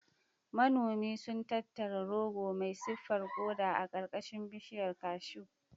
Manoman sun tattara goro mai siffar koda a ƙarƙashin bishiyar cashew.